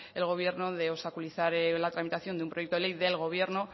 al gobierno de obstaculizar la tramitación de un proyecto ley del gobierno